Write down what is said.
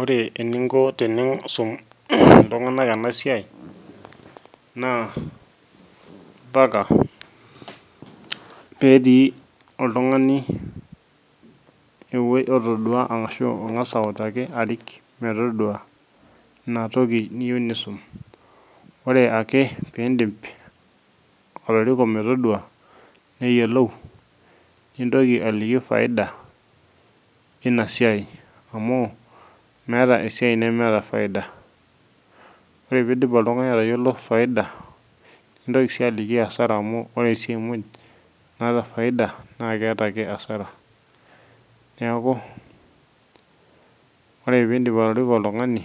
Ore eninko tenisum iltunganak enasiai naa mpaka petii oltungani otodua ashu otangas arik metodua inatoki niyieu nisum. Ore ake pindip atoriko metodua ,neyiolou ,nintoki aliki faida inasiai amu meeta esiai nemeeta faida , ore pidip oltungani atayiolo faida ,nitoki si aliki asara amu ore esiai muj naata faida naa keeta ake asara . Neku ore pindip atoriko oltungani